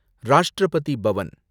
Rashtrapati Pawan